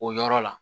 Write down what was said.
O yɔrɔ la